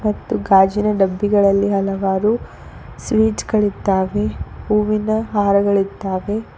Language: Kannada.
ಮತ್ತು ಗಾಜಿನ ಡಬ್ಬಿ ಗಳಲ್ಲಿ ಹಲವಾರು ಸ್ವೀಟ್ಸ್ ಗಳಿದ್ದಾವೆ ಹೂವಿನ ಹಾರಗಳಿದ್ದಾವೆ.